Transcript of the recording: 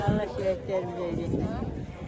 Allah şəhidlərimizə rəhmət eləsin.